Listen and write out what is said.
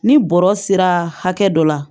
Ni bɔrɔ sera hakɛ dɔ la